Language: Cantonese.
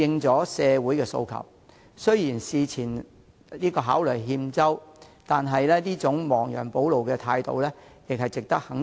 政府雖然事前考慮有欠周詳，但這種亡羊補牢的態度始終值得肯定。